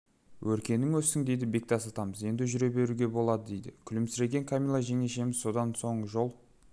өркенің өссін дейді бектас атамыз енді жүре беруге болады дейді күлімсіреген камила жеңешеміз содан соң жол